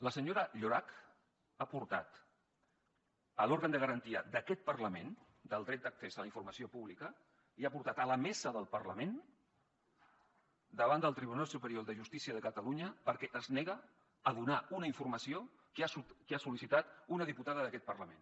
la senyora llorach ha portat l’òrgan de garantia d’aquest parlament del dret d’accés a la informació pública i ha portat la mesa del parlament davant del tribunal superior de justícia de catalunya perquè es nega a donar una informació que ha sol·licitat una diputada d’aquest parlament